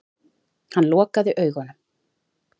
Hann lokaði augunum.